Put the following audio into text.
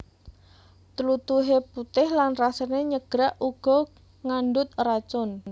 Tlutuhe putih lan rasane nyegrak uga ngandhut racun